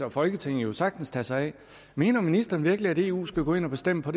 og folketinget jo sagtens tage sig af mener ministeren virkelig at eu skal gå ind og bestemme på